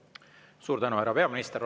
Suur tänu, härra peaminister!